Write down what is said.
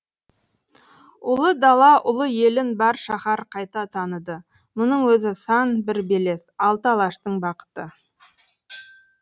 ұлы дала ұлы елін бар шаһар қайта таныды мұның өзі сан бір белес алты алаштың бақыты